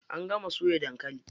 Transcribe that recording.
An gama soya dankali.